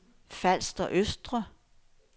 Falster Østre